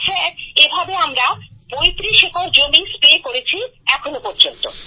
sir এভাবে আমরা ৩৫ acre জমি স্প্রে করেছি এখনও পর্যন্ত